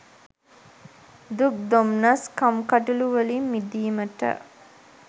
දුක් දොම්නස් කම්කටොලුවලින් මිඳීමට